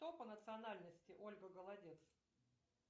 кто по национальности ольга голодец